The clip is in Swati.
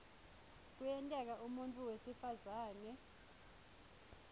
kuyenteka umuntfu wesifazane